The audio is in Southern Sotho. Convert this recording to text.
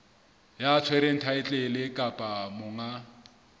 ya tshwereng thaetlele kapa monga